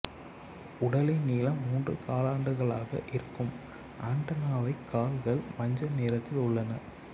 உடலின் நீளம் மூன்று காலாண்டுகளாக இருக்கும் ஆண்டென்னாவைக் கால்கள் மஞ்சள் நிறத்தில் உள்ளன